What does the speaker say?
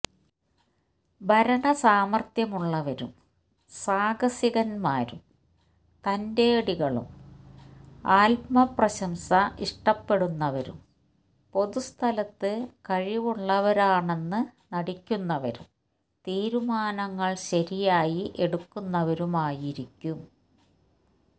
ഭരണസാമർഥ്യമുള്ളവരും സാഹസികന്മാരും തന്റേടികളും ആത്മപ്രശംസ ഇഷ്ടപ്പെടുന്നവരും പൊതുസ്ഥലത്തു കഴിവുള്ളവരാണെന്നു നടിക്കുന്നവും തീരുമാനങ്ങൾ ശരിയായി എടുക്കുന്നവരുമായിരിക്കും